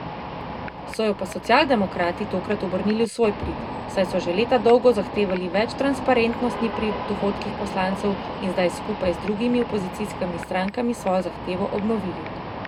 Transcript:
So jo pa socialdemokrati tokrat obrnili v svoj prid, saj so že leta dolgo zahtevali več transparentnosti pri dohodkih poslancev in zdaj skupaj z drugimi opozicijskimi strankami svojo zahtevo obnovili.